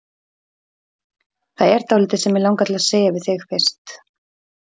Það er dálítið sem mig langar til að segja við þig fyrst.